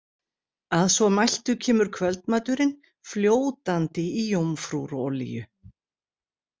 Að svo mæltu kemur kvöldmaturinn, fljótandi í jómfrúrolíu.